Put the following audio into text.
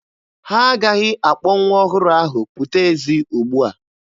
Ha agaghị akpọ nwa ọhụrụ ahụ pụta ezi ugbua.